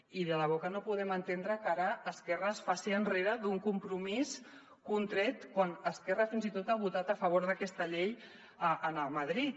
i de debò que no podem entendre que ara esquerra es faci enrere d’un compromís contret quan esquerra fins i tot ha votat a favor d’aquesta llei a madrid